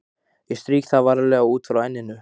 Ég strýk það varlega, út frá enninu.